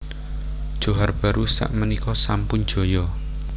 Johar Baru sak menika sampun jaya